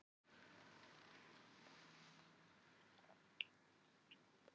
Svo stansaði hann en Gvendur notaði tækifærið og botnaði vísuna: